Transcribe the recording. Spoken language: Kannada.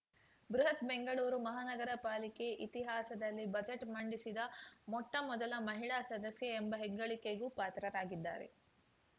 ಬೃಹತ್‌ ಬೆಂಗಳೂರು ಮಹಾನಗರ ಪಾಲಿಕೆ ಇತಿಹಾಸದಲ್ಲಿ ಬಜೆಟ್‌ ಮಂಡಿಸಿದ ಮೊಟ್ಟಮೊದಲ ಮಹಿಳಾ ಸದಸ್ಯೆ ಎಂಬ ಹೆಗ್ಗಳಿಕೆಗೂ ಪಾತ್ರರಾಗಿದ್ದಾರೆ